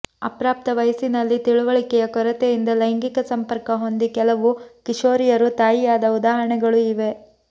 ಅಪ್ರಾಪ್ತ ವಯಸ್ಸಿನಲ್ಲಿ ತಿಳಿವಳಿಕೆಯ ಕೊರತೆಯಿಂದ ಲೈಂಗಿಕ ಸಂಪರ್ಕ ಹೊಂದಿ ಕೆಲವು ಕಿಶೋರಿಯರು ತಾಯಿಯಾದ ಉದಾಹರಣೆಗಳೂ ಇವೆ